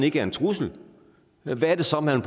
ikke er en trussel hvad er det så man